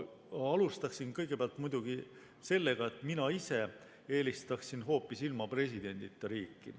Alustan muidugi sellega, et mina ise eelistaksin hoopis ilma presidendita riiki.